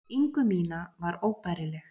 ingu mína var óbærileg.